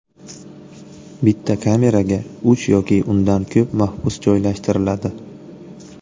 Bitta kameraga uch yoki undan ko‘p mahbus joylashtiriladi.